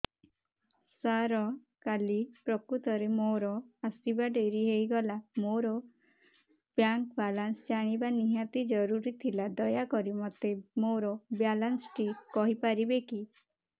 ସାର କାଲି ପ୍ରକୃତରେ ମୋର ଆସିବା ଡେରି ହେଇଗଲା ମୋର ବ୍ୟାଙ୍କ ବାଲାନ୍ସ ଜାଣିବା ନିହାତି ଜରୁରୀ ଥିଲା ଦୟାକରି ମୋତେ ମୋର ବାଲାନ୍ସ ଟି କହିପାରିବେକି